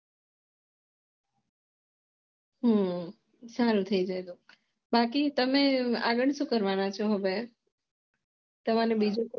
હમ સારું થઇ જાય તો બાકી તમે આગળ સુ કરવાનો છો હવે તમારે